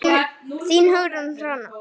Þín, Hugrún Hanna.